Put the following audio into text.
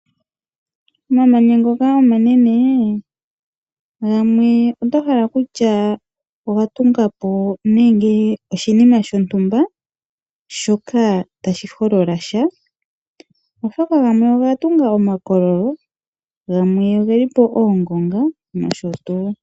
Omamanya ngoka omanene gamwe oto hala kutya oga tunga po nenge oshinima shontumba shoka tashi holola sha, oshoka gamwe oga tunga omakololo, gamwe ogeli po oongonga nosho tuu.